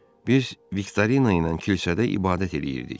Biz Viktorina ilə kilsədə ibadət eləyirdik.